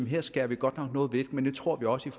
her skærer vi godt nok noget væk men det tror vi også er